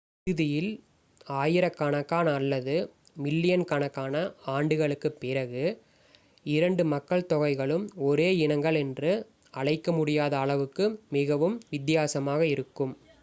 இறுதியில் ஆயிரக்கணக்கான அல்லது மில்லியன் கணக்கான ஆண்டுகளுக்குப் பிறகு இரண்டு மக்கள் தொகைகளும் ஒரே இனங்கள் என்று அழைக்க முடியாத அளவுக்கு மிகவும் வித்தியாசமாக இருக்கும்